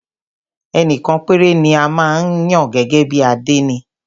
Ẹnìkan péré ni a máa ń yàn gẹ́gẹ́ bí àdénì.